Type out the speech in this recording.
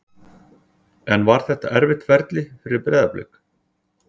En var þetta erfitt ferli fyrir Breiðablik?